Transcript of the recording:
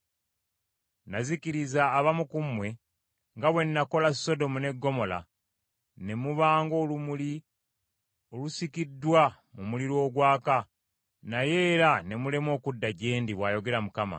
“Nazikiriza abamu ku mmwe nga bwe nakola Sodomu ne Ggomola, ne muba ng’olumuli olusikiddwa mu muliro ogwaka naye era ne mulema okudda gye ndi,” bw’ayogera Mukama .